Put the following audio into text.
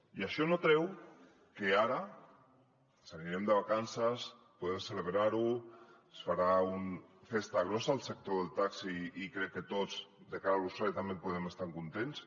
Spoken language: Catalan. i això no treu que ara ens n’anirem de vacances podem celebrar ho es farà una festa grossa al sector del taxi i crec que tots de cara a l’usuari també en podem estar contents